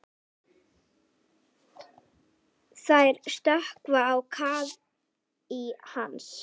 Hrafnar, hvað er að frétta?